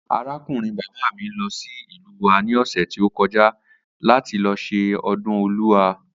Arákùnrin bàbá mi lo̩ sí ìlú wa ní ò̩sè̩ tí ó ko̩já láti lo̩ s̩e o̩dún O̩lúa